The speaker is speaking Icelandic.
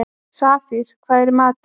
Safír, hvað er í matinn?